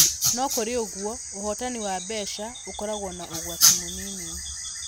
No kũrĩ ũguo, ũhotani wa mbeca ũkoragwo na ũgwati mũnini.